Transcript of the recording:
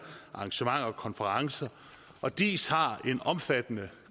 arrangementer og konferencer og diis har en omfattende